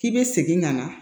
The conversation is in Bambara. K'i bɛ segin ka na